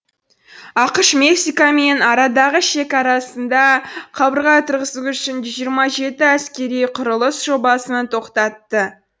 ақш мексикамен арадағы шекарасында қабырға тұрғызу үшін жүз жиырма жеті әскери құрылыс жобасын тоқтатты